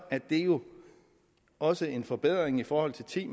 det jo også en forbedring i forhold til ti